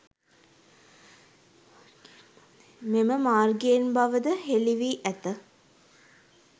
මෙම මාර්ගයෙන් බවද හෙළිවී ඇත.